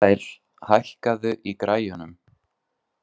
Asael, hækkaðu í græjunum.